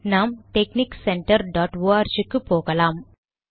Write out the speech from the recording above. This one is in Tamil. நாம் டெக்ஸ்னிக் சென்டர் டாட் ஆர்க் க்கு போகலாம்